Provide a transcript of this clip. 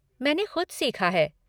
मैंने ख़ुद सीखा है।